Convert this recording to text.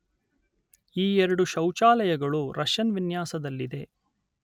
ಈ ಎರಡು ಶೌಚಾಲಯಗಳು ರಷ್ಯನ್ ವಿನ್ಯಾಸದಲ್ಲಿದೆ